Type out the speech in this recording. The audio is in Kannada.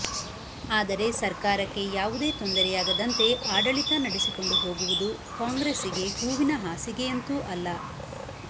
ಆದರೆ ಸರ್ಕಾರಕ್ಕೆ ಯಾವುದೇ ತೊಂದರೆಯಾಗದಂತೆ ಆಡಳಿತ ನಡೆಸಿಕೊಂಡು ಹೋಗುವುದು ಕಾಂಗ್ರೆಸ್ಸಿಗೆ ಹೂವಿನ ಹಾಸಿಗೆಯಂತೂ ಅಲ್ಲ